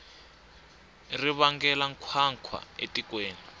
ri vangela nkhwankhwa etikweni